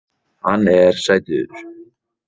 Vaxtarverkir gerðu vart við sig